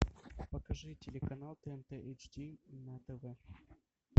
покажи телеканал тнт эйч ди на тв